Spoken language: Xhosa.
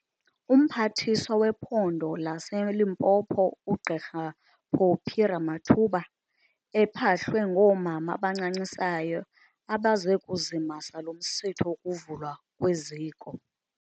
UMphathiswa wePhondo laseLimpopo uGq Phophi Ramathuba ephahlwe ngoomama abancancisayo abeze kuzimasa lo umsitho wokuvulwa kweziko.